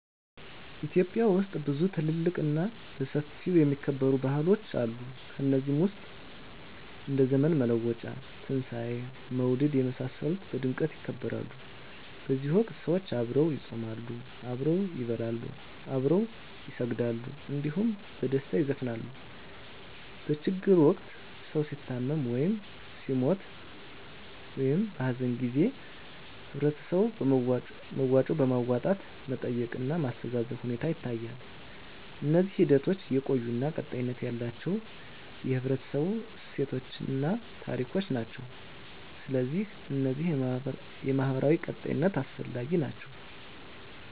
ኢትዮጵያ ውስጥ ብዙ ትልልቅ እና በሰፊው የሚከበሩ ባህሎች አሉ ከነዚህ ውስጥ እንደ ዘመን መለወጫ; ትንሣኤ; መውሊድ የመሳሰሉት በድምቀት ይከበራሉ በዚህ ወቅት ሰዎች አብረው ይጾማሉ፣ አብረው ይበላሉ፣ አብረው ይሰግዳሉ እንዲሁም በደስታ ይዘፍናሉ። በችግር ወቅት ሰዉ ሲታመም ወይም ሲሞት(በሀዘን) ጊዜ በህበረተሰቡ በመዋጮ በማዋጣት መጠየቅ እና ማስተዛዘን ሁኔታ ይታያል። እነዚህ ሂደቶች የቆዩ እና ቀጣይነት ያላቸው የህብረተሰቡ እሴቶችን እና ታሪኮችን ናቸው። ስለዚህ እነዚህ ለማህበራዊ ቀጣይነት አስፈላጊ ናቸው